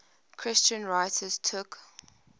christian writers took